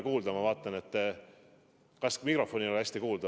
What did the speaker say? Kas ei ole hästi kuulda?